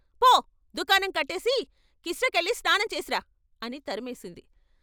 ఫో దుకాణం కట్టేసి కిష్ట కెళ్ళి స్నానం చేసి రా అని తరిమేసింది.